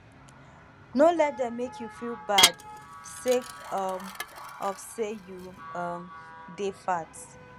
no let dem make you feel bad sake um of sey you um dey fat